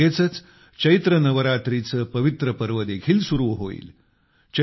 त्यानंतर लगेचच चैत्र नवरात्रीचे पवित्र पर्व देखील सुरु होईल